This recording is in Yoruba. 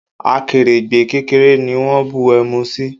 Akèrègbè kékeré ni wón bu ẹmu sí.